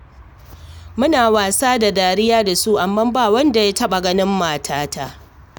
Muna wasa da dariya da su, amma ba wanda ya taɓa ganin matata